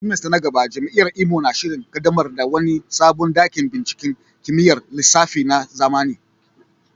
semester na gaba, Jami’ar Imo na shirin kaddamar da wani sabon dakin binciken kimiyyar lissafi na zamani.